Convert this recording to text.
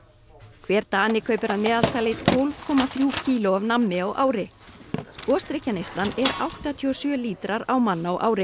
hver Dani kaupir að meðaltali tólf komma þrjú kíló af nammi á ári er áttatíu og sjö lítrar á mann á ári